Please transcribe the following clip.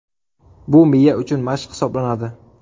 Bu miya uchun mashq hisoblanadi.